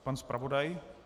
Pan zpravodaj.